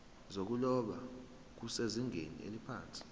zokuloba kusezingeni eliphansi